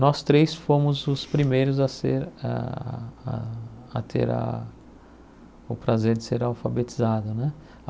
Nós três fomos os primeiros a ser a a a ter a o prazer de ser alfabetizado né.